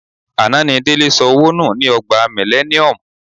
Àná ni Délé sọ owó nù ni Ọgbà Millennium.